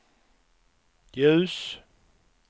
ljus